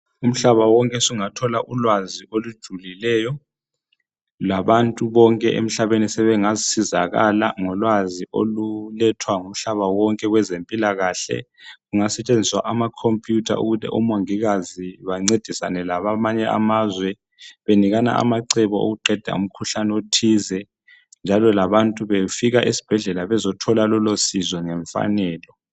umhlaba wonke usugathola ulwazi olujulileyo labantu bonke emhlabeni sebengasizakala ngolwazi olulethwa ngumhlaba wonke kwezempilakahle kungasetshenziswa ama computer ukuthi omongikazi bancedisana labanye abakwamanye amazwe benikana amacebo okuqeda umkhuhlane othize njalo labantu befika esibhedlela bezothola lolosizo ngemfanelo